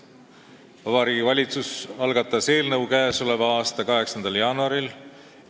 Vabariigi Valitsus algatas eelnõu k.a 8. jaanuaril.